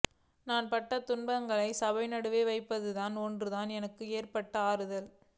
நான் பட்ட துன்பங்களைச் சபை நடுவில் வைப்பது ஒன்றுதான் எனக்கு ஏற்படும் ஆறுதல்